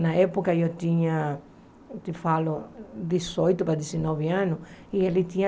Na época, eu tinha, eu te falo, dezoito para dezenove anos e ele tinha